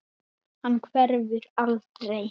Hann hverfur aldrei.